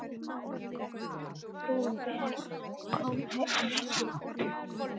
Frúin Bera kom ekki.